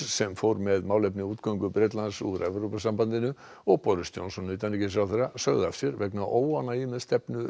sem fór með málefni útgöngu Bretlands úr Evrópusambandinu og Boris Johnson utanríkisráðherra sögðu af sér vegna óánægju með stefnu